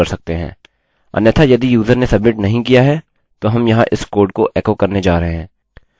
अन्यथा यदि यूज़र ने सब्मिट नहीं किया है तो हम यहाँ इस कोड को एको करने जा रहे हैं